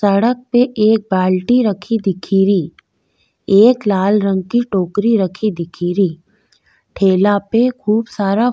सड़क पे एक बाल्टी रखी दिखेरी एक लाल रंग की टोकरी रखी दिखेरी ठेला पे खूब सारा --